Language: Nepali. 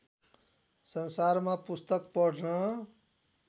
संसारमा पुस्तक पढ्न